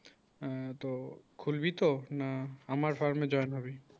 আ তো খুলবি তো না আমার ফার্মে join হবি